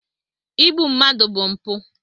Igbu mmadụ bụ mpụ.